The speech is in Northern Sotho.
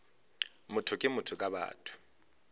motho ke motho ka batho